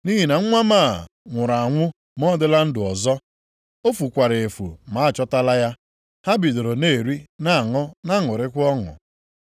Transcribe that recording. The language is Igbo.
Nʼihi na nwa m a, nwụrụ anwụ ma ọ dịla ndụ ọzọ. O fukwara efu ma a chọtala ya.’ Ha bidoro na-eri, na-aṅụ na-aṅụrịkwa ọṅụ.